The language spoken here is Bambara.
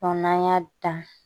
n'an y'a dan